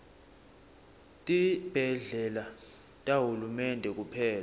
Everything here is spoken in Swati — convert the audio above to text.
tibhedlela tahulumende kuphela